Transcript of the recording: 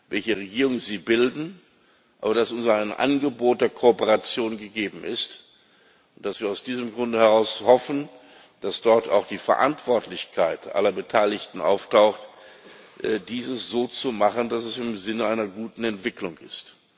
welche Regierung sie bilden, aber dass unsererseits ein Angebot der Kooperation gegeben ist und dass wir aus diesem Grunde heraus hoffen, dass dort auch die Verantwortlichkeit aller Beteiligten auftaucht, dies so zu machen, dass es im Sinne einer guten Entwicklung ist.